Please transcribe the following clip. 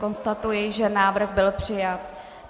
Konstatuji, že návrh byl přijat.